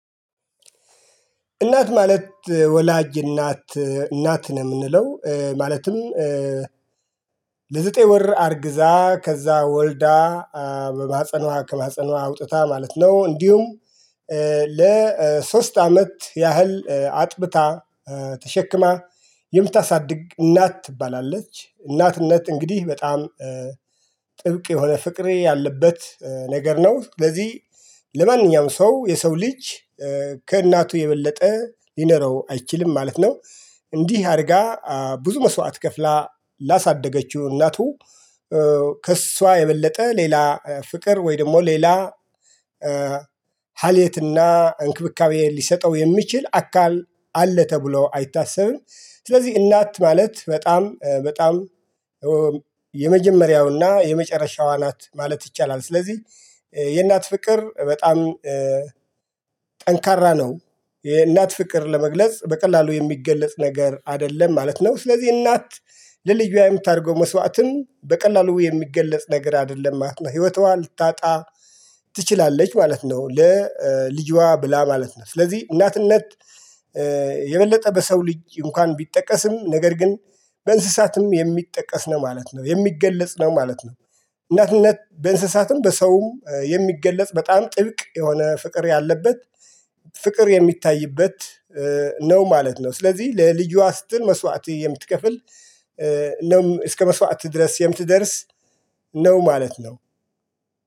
እናት ማለት ወላጅ እናት እናት ነው የምንለው ማለትም ለዘጠኝ ወር አርግዛ ከዛ ወልዳ በባጽኗ ከባጽኗ አውጥታ ማለት ነው። እንዲሁም ለሶስት አመት ያህል አጥብታ ተሸክማ የምታሳድግ እናት ትባላለች። እናትነት እንግዲህ በጣም ጥብቅ የሆነ ፍቅሬ ያለበት ነገር ነው። ለዚህ ለማንኛውም ሰው የሰው ልጅ ከእናቱ የበለጠ ሊኖረው አይችልም ማለት ነው። እንዲህ አርጋ ብዙ መስዋዕት ከፍላ ላሳደገችው እናቱ ከእሷ የበለጠ ሌላ ፍቅር ወይ ደግሞ ሌላ ሀሌትና እንክብካቤን ሊሰጠው የሚችል አካል አለ ተብሎ አይታሰብም። ስለዚህ እናት ማለት በጣም በጣም የመጀመሪያውና የመጨረሻዋ ናት ማለት ይቻላል። ስለዚህ የእናት ፍቅር በጣም ጠንካራ ነው። የእናት ፍቅር ለመግለጽ በቀላሉ የሚገለጽ ነገር አይደለም ማለት ነው። ስለዚህ እናት ለልጃ የምታደርገው መስዋዕትም በቀላሉ የሚገለጽ ነገር አይደለም ማለት ነው። ህይወቷ ልታጣ ትችላለች ማለት ነው። ለልጇ ብላ ማለት ነው። ስለዚህ እናትነት የበለጠ በሰው ልጅ እንኳን ቢጠቀስም ነገር ግን በእንስሳትም የሚጠቀስ ነው ማለት ነው የሚገለጽ ነው ማለት ነው። እናትነት በእንስሳትም በሰውም የሚገለጽ በጣም ጥብቅ የሆነ ፍቅር ያለበት ፍቅር የሚታይበት ነው ማለት ነው። ስለዚህ ለልጃ ስትል መስዋዕት የምትከፍል ነው እስከ መስዋዕት ድረስ የምትደርስ ነው ማለት ነው